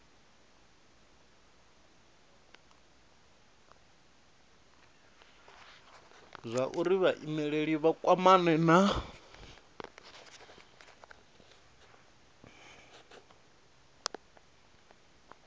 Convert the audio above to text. zwauri vhaimeleli vha kwamane na